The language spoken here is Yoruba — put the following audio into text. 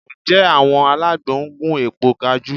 Ǹjẹ́ àwọn alágbo ń gún èpo kajú?